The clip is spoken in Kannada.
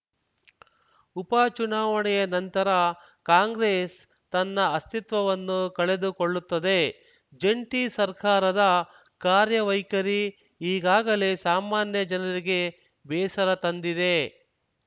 ಉಪ ಚುನಾವಣೆಯ ನಂತರ ಕಾಂಗ್ರೆಸ್‌ ತನ್ನ ಅಸ್ತಿತ್ವವನ್ನು ಕಳೆದುಕೊಳ್ಳುತ್ತದೆ ಜಂಟಿ ಸರ್ಕಾರದ ಕಾರ್ಯವೈಖರಿ ಈಗಾಗಲೇ ಸಾಮಾನ್ಯ ಜನರಿಗೆ ಬೇಸರ ತಂದಿದೆ